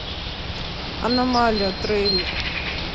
аномалия трейлер